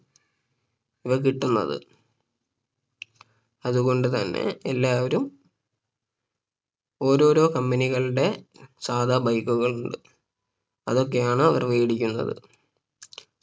ഇവ കിട്ടുന്നത് അതുകൊണ്ട് തന്നെ എല്ലാവരും ഓരോരോ Company കളുടെ സാധാ bike കൾ അതൊക്കെയാണ് അവര് വേടിക്കുന്നത്